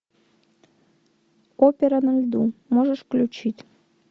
опера на льду можешь включить